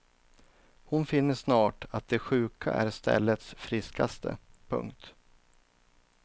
Hon finner snart att de sjuka är ställets friskaste. punkt